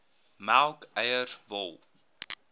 melk eiers wol